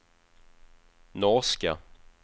norska